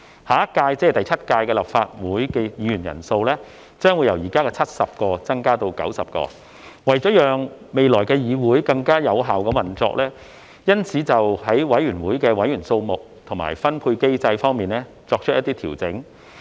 下一屆立法會議員人數將會由現時的70位增加至90位，為了讓未來的議會更有效運作，因此在委員會的委員數目和分配機制方面作出一些調整。